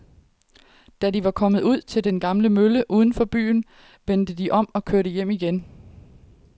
Da de var kommet ud til den gamle mølle uden for byen, vendte de om og kørte hjem igen.